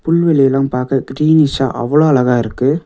புல்வெளிலா பாக்க கிரீனிஷா அவ்ளோ அழகா இருக்கு.